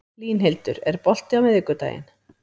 Línhildur, er bolti á miðvikudaginn?